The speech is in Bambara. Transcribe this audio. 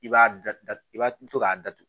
I b'a datugu i b'a to k'a datugu